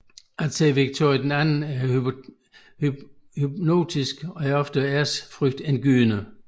At se Victoria II er hypnotisk og ofte ærefrygtindgydende